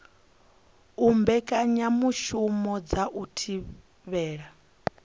u mbekanyamushumo dza u thivhela